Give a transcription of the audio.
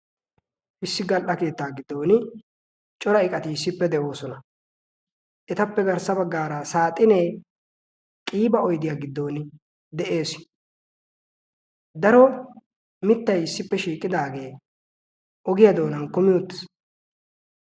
hissi gal77a keettaa giddon cora iqatiissippe de7oosona etappe garssa baggaara saaxinee qiiba oidiyaa giddon de7ees daro mittai issippe shiiqidaagee ogiyaa doonan kumi uttis.